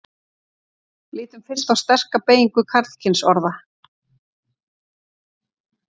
lítum fyrst á sterka beygingu karlkynsorða